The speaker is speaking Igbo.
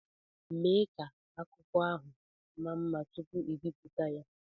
Mee ka akwụkwọ akụkọ ahụ maa mma tupu ebibuta ya!